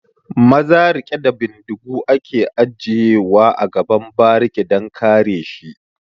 Maza riƙe da bindigu ake aje wa a gaban bariki dan kare shi